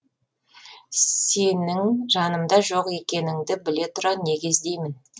сенің жанымда жоқ екенінді біле тұра неге іздеймін